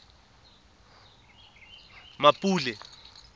mmapule